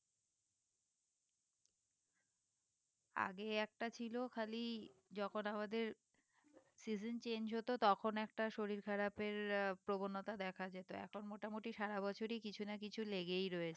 আগে একটা ছিল খালি যখন আমাদের season change হতো তখন একটা শরীর খারাপের আহ প্রবণতা দেখা যেত এখন মোটামুটি সারা বছরই কিছু না কিছু লেগেই রয়েছে